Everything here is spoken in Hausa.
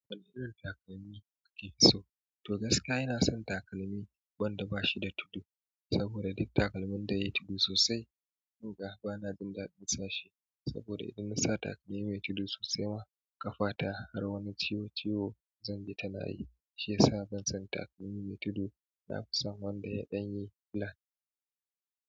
Wane irin takalmi kake so? To gaskiya ina son takalmi wanda bashi da tudu, saboda duk takalmin da yayi tudu sosai, kunga bana jin daɗin sashe. Saboda idan nasa takalmi mai tudu sosai ma, ƙafa ta har wani ciwo ciwo zanbi ta nayi. Shi yasa ban son takalmi mai tudu, nafi son wanda ya ɗan yi flat.